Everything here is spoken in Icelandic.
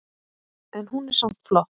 En hún er samt flott.